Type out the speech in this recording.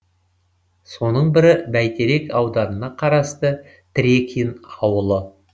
соның бірі бәйтерек ауданына қарасты трекин ауылы